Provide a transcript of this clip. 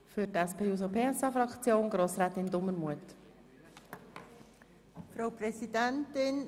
Für die SP-JUSO-PSA-Fraktion hat Grossrätin Dumermuth das Wort.